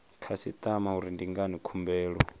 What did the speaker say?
khasitama uri ndi ngani khumbelo